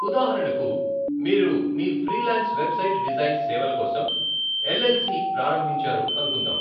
ఉదాహరణకు, మీరు మీ ఫ్రీలాన్స్ వెబ్ డిజైన్ సేవల కోసం ఎల్ఎల్సి ప్రారంభించారు అనుకుందాం.